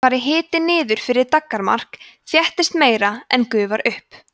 fari hiti niður fyrir daggarmark þéttist meira en gufar upp